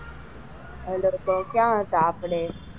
બોલો તો ક્યાં હતા આપણે?